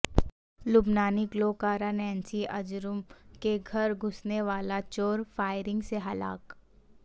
لبنانی گلوکارہ Nancy Ajram کے گھر گھسنے والا چور فائرنگ سے ہلاک